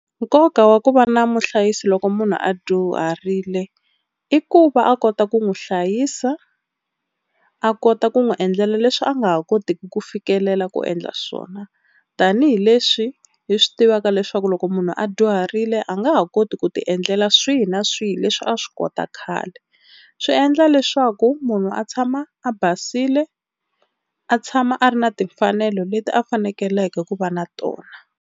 Nkoka wa ku va na muhlayisi loko munhu a dyuharile i ku va a kota ku n'wi hlayisa a kota ku n'wi endlela leswi a nga ha kotiki ku fikelela ku endla swona. Tanihi leswi hi swi tivaka leswaku loko munhu a dyuharile a nga ha koti ku tiendlela swihi na swihi leswi a swi kota khale swi endla leswaku munhu a tshama a basile a tshama a ri na timfanelo leti a fanekeleke ku va na tona.